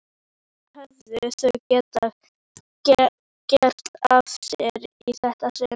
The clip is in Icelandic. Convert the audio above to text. Hvað höfðu þau gert af sér í þetta sinn?